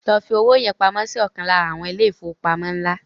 Lọ fi owó yẹn pamọ́ si ọ̀kan lára àwọn ilé ìfowópamọ́ ńlá